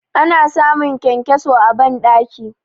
Ana samun kyankyaso a bandaki.